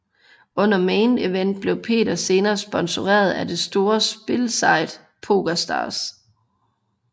Under Main Event blev Peter senere sponsoreret af det store spilsite PokerStars